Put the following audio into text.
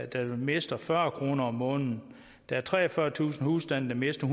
der mister fyrre kroner om måneden der er treogfyrretusind husstande der mister